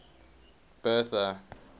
bertha